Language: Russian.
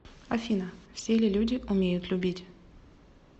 афина все ли люди умеют любить